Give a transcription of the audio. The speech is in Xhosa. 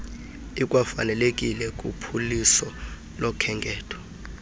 ikwafanelekile kuphuliso lokhenketho